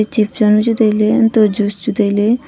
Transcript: chps janu chu tailey untoh juice chu tailey.